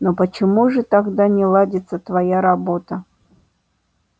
но почему же тогда не ладится твоя работа